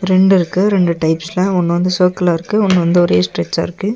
ரெண்டு இருக்கு ரெண்டு டைப்ஸ்ல ஒன்னு வந்து சர்குலா இருக்கு ஒன்னு வந்து ஒரே ஸ்ட்ரெச்சா இருக்கு.